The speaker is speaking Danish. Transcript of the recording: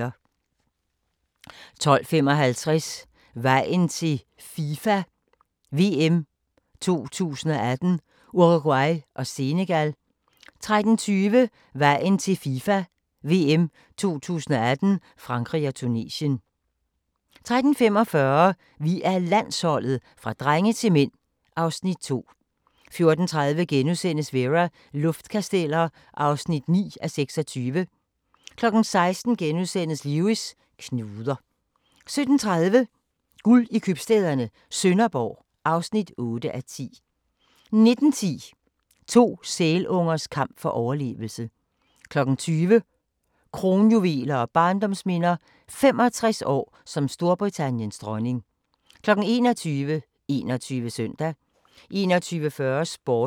12:55: Vejen til FIFA VM 2018: Uruguay og Senegal 13:20: Vejen til FIFA VM 2018: Frankrig og Tunesien 13:45: Vi er Landsholdet – fra drenge til mænd (Afs. 2) 14:30: Vera: Luftkasteller (9:26)* 16:00: Lewis: Knuder * 17:30: Guld i købstæderne - Sønderborg (8:10) 19:10: To sælungers kamp for overlevelse 20:00: Kronjuveler og barndomsminder – 65 år som Storbritanniens dronning 21:00: 21 Søndag 21:40: Sporten